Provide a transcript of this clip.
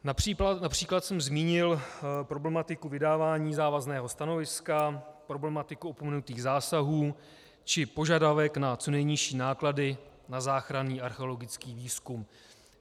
Například jsem zmínil problematiku vydávání závazného stanoviska, problematiku opomenutých zásahů či požadavek na co nejnižší náklady na záchranný archeologický výzkum.